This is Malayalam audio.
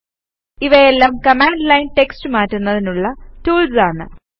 ഇവയെല്ലാം കമാൻഡ് ലൈൻ ടെക്സ്റ്റ് മാറ്റുന്നതിനുള്ള ടൂൾസ് ആണ്